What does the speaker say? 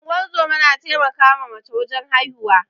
Ingozuma na taimaka ma mace wajen haihuwa